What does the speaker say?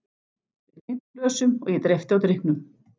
Við klingdum glösum og ég dreypti á drykknum.